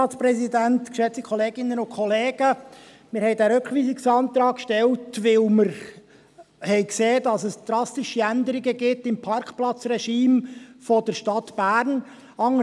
Wir haben diesen Rückweisungsantrag gestellt, weil wir sahen, dass es drastische Änderungen im Parkplatzregime der Stadt Bern gibt.